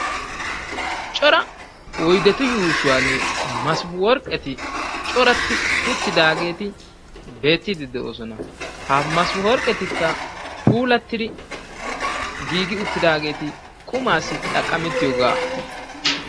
Cora oydetu yuushuwani masworqqeti coratti uttidaageti beettiiddi de'oosona, ha masworqqetikka Puulattidi giigi uttidaageti qumaassi xaqqamettiyogaa.